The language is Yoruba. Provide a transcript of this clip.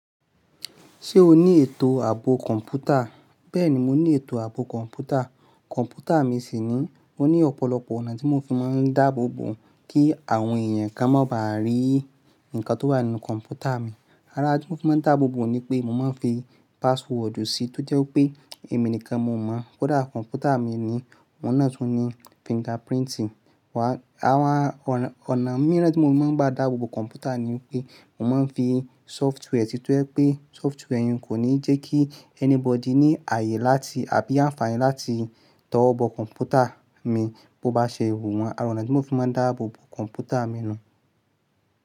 Ṣé o ní ètò ààbò kọ̀ǹpútà? Bẹ́ẹ̀ni, mo ní ètò ààbò kọ̀ǹpútà. Kọ̀ǹpútà mi sì ni, mo ní ọ̀pọ̀lọpọ̀ ọ̀nà tí mo fi máa ń dáàbò bò kí àwọn èèyàn kan má ba rí nǹkan tó wà nínú kọ̀ǹpútà mi. Ara n tí mo fi máa ń dáàbò bò ni pé mo máa ń fi password jù ú sí tó jẹ́ pé èmi nìkan mo mọ̀. Kódà kọ̀ǹpútà mi ni, ohun náà tún ní fingerprint. Wa, àwọn ọ̀nà mìíràn tí mo máa ń bá dààbò bò kọ̀ǹpútà ni wípé mo máa ń fi software sí tó jẹ́ pé software yẹn kò ní jẹ́ kí anybody ní ààyè láti àbí àǹfààní láti tọwọ́ bọ kọ̀ǹpútà mi bó bá ṣe wù wọ́n. Àwọn náà tí mo fi máa ń dáàbò bò kọ̀ǹpútà mi nù.